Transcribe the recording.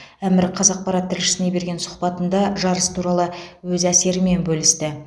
әмір қаз ақпарат тілшісіне берген сұхбатында жарыс туралы өз әсерімен бөлісті